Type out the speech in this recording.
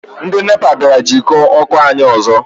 Ndị NEPA bịara jikọọ ọkụ anyị ọzọ.